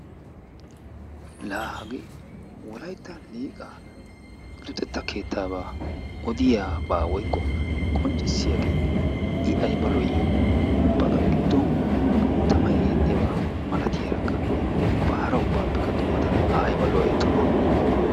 Laa hagee wolayttan Liiqaa luxetta keettaabaa odiyabaa woykko qonccissiyagee I ayba lo''ii ubbakka qa giddon tamay eexxiyaba malatiyarakka ubba hara ubbaappekka dummatada A ayba lo''ay tuma.